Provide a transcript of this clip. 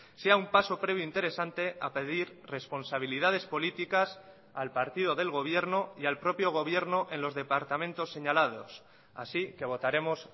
sea un paso previo interesante a pedir responsabilidades políticas al partido del gobierno y al propio gobierno en los departamentos señalados así que votaremos